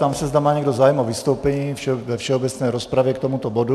Ptám se, zda má někdo zájem o vystoupení ve všeobecné rozpravě k tomuto bodu.